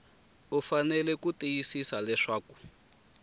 u fanele ku tiyisisa leswaku